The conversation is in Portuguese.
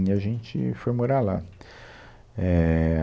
E a gente foi morar lá. É